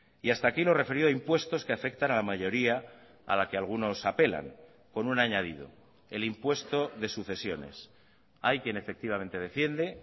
y hasta aquí lo referido a impuestos que afectan a la mayoría a la que algunos apelan con un añadido el impuesto de sucesiones hay quien efectivamente defiende